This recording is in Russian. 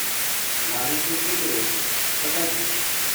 маленькие секреты покажи